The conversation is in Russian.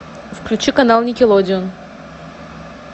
включи канал никелодеон